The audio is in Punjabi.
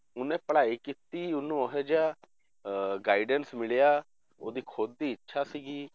ਉਹਨੇ ਪੜ੍ਹਾਈ ਕੀਤੀ ਉਹਨੂੰ ਇਹ ਜਿਹਾ ਅਹ guidance ਮਿਲਿਆ ਉਹਦੀ ਖੁੱਦ ਦੀ ਇੱਛਾ ਸੀਗੀ